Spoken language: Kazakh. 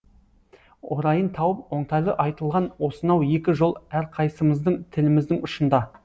орайын тауып оңтайлы айтылған осынау екі жол әрқайсымыздың тіліміздің ұшында